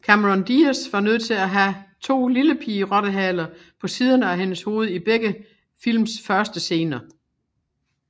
Cameron Diaz var nødt til at have to lillepigerottehaler på siderne af hendes hoved i begge films første scener